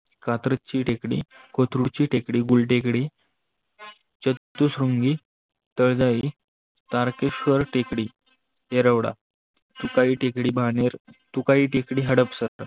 कात्रची तेकडी, कोत्रू ची तेकडी, बुल तेकडी, सप्तश्रृंगी, तळजाई, तारकेस्वर तेकडी येरोडा, तुकाई तेकडी बानेर, तुकाई तेकडी हडपसर